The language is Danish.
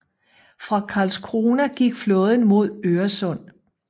Fra Karlskrona gik flåden mod Øresund